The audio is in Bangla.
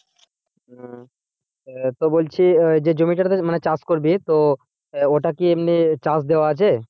এ তো বলছি যে জমিটাতে মানে চাষ করবি তো ওইটা কি এমনি চাষ দেওয়া আছে?